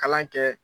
Kalan kɛ